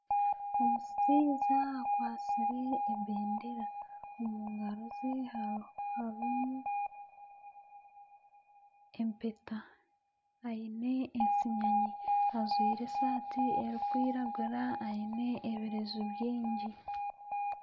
Omushaija akwatsire ebendera omu ngaro ze harimu empeta. Aine ensinyanyi ajwaire esaati erikwiragura aine ebireju bingi.